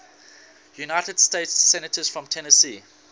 united states senators from tennessee